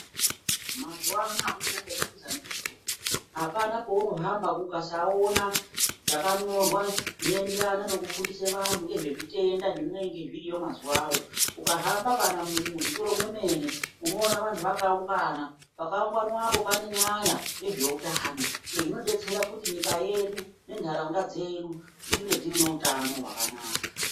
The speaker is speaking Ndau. Mazuwano akuchina kwekutiza ndiko. Apana paunohamba ukasaona zvakanyorwa ngezvinoenderana nezvekufundisa vantu ngezvezvitenda zvinenge zviriyo mazuwayo. Ukahamba kana muzvitoro zvemene unovantu vakaungana. Pakaunganwapo pane nyaya yezveutano. Izvi zvinodetsera kuti nyika yedu nentaraunda yedu dzinge dzine utano hwakanaka.